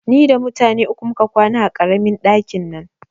Ni da mutane uku muka kwana a ƙaramin ɗakin nan